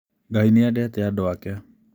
Ngai nĩ endete andũ ake.